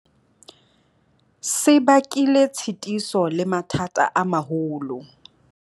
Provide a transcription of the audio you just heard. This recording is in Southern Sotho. Se bakile tshitiso le mathata a maholo.